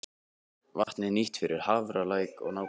Vatnið er nýtt fyrir Hafralæk og nágrenni.